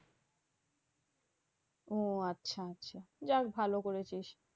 ও আচ্ছা যাক ভালো করেছিস।